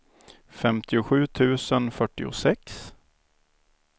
femtiosju tusen fyrtiosex